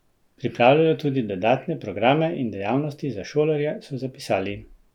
Pripravljajo tudi dodatne programe in dejavnosti za šolarje, so zapisali.